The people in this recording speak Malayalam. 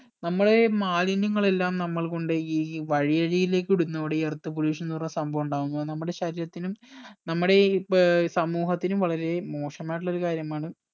നമ്മളെ മാലിന്യങ്ങൾ എല്ലാം നമ്മൾ കൊണ്ട് പോയി ഈ വഴി അരികിലേക്ക് ഇടുന്നതോടെ ഈ earth pollution പറഞ്ഞ സംഭവം ഉണ്ടാവുന്നു അത് നമ്മടെ ശരീരത്തിനും നമ്മടെ ഈ ഏർ സമൂഹത്തിനും വളരെ മോശമായിട്ടുള്ളൊരു കാര്യമാണ്